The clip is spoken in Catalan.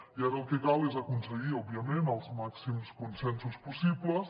i ara el que cal és aconseguir òbviament els màxims consensos possibles